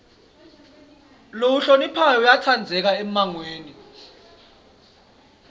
lohloniphako uyatsandzeka emmangweni